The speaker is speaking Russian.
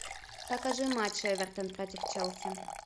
покажи матч эвертон против челси